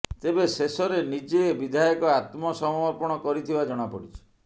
ତେବେ ଶେଷରେ ନିଜେ ବିଧାୟକ ଆତ୍ମସମର୍ପଣ କରିଥିବା ଜଣା ପଡିଛି